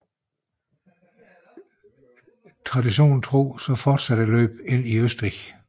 Traditionen tro fortsatte løbet ind i Østrig